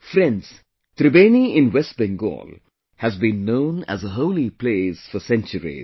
Friends, Tribeni in West Bengal has been known as a holy place for centuries